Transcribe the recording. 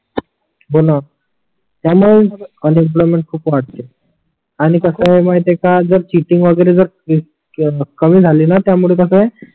हो णा त्यान तेच म्हंटल अनएम्प्लॉयमेंट खूप वाटते आणि कस आहे माहिती आहे का जर चीटिंग वगेरे जर कमी झाले णा त्यामुळे कस आहे